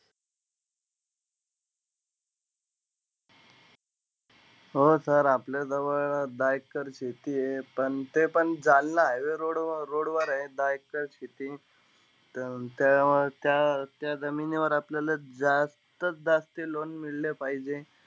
हो sir आपल्याजवळ दहा एकर शेती आहे. पण तेपण जालना highway road वर आहे दहा एकर शेती. त्या त्या जमिनीवर आपल्याला जास्तीत-जास्त loan मिळलें पाहिजे.